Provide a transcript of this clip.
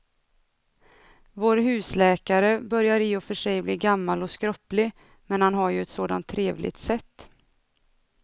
Vår husläkare börjar i och för sig bli gammal och skröplig, men han har ju ett sådant trevligt sätt!